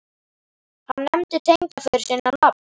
Hann nefndi tengdaföður sinn á nafn.